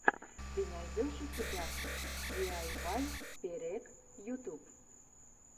ты найдешь у себя диайвай перек ютуб